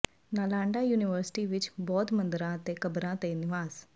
Nalanda university ਵਿਚ ਬੌਧ ਮੰਦਰਾਂ ਅਤੇ ਕਬਰਾਂ ਦੇ ਨਿਵਾਸ